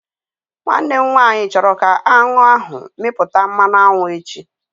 Nwanne m nwaanyị chọrọ ka aṅụ ahụ mịpụta mmanụ aṅụ echi